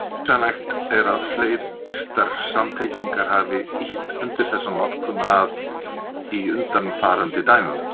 Hugsanlegt er að fleiryrtar samtengingar hafi ýtt undir þessa notkun að í undanfarandi dæmum.